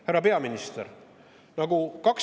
Härra peaminister!